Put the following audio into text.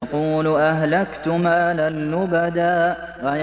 يَقُولُ أَهْلَكْتُ مَالًا لُّبَدًا